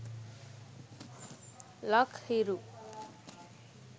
lak hiru